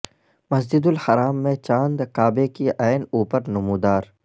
مسجد الحرام میں چاند کعبہ کے عین اوپر نمودار